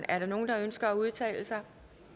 er der nogen der ønsker at udtale sig